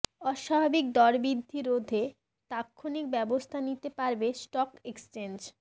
অস্বাভাবিক দরবৃদ্ধি রোধে তাৎক্ষণিক ব্যবস্থা নিতে পারবে স্টক এক্সচেঞ্জ